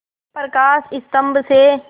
प्रकाश स्तंभ से